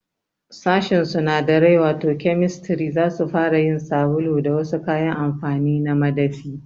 Sashin sunadarai wato Chemistry zasu fara yin sabulu da wasu kayan amfani na madafi